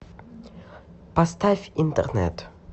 поставь интернет